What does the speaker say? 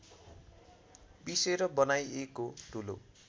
पिसेर बनाइएको धुलो